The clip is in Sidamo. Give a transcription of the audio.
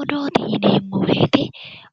Odoote yinneemmo woyte